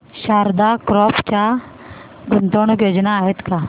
Sharda crop च्या गुंतवणूक योजना आहेत का